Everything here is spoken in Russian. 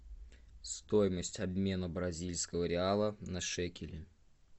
стоимость обмена бразильского реала на шекели